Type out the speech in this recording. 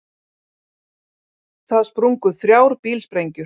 Það sprungu þrjár bílsprengjur